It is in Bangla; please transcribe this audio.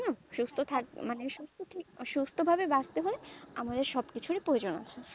সুস্থ থাকে মানে সুস্থ ভাবে বাঁচতে হয় আমাদের সব কিছুরই প্রয়োজন